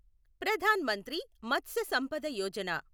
Pradhan Mantri Matsya Sampada Yojana